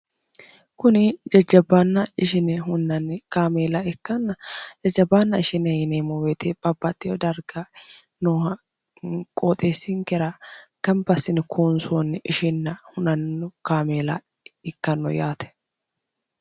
kuni jajjabbaanna ishine hunnanni kaameela ikkanna jajjabaanna ishine yinemmo weete babbatteo darga nooha qooxeessinkera gambasini kuonsoonni ishinna hunanno kaameela ikkanno yaate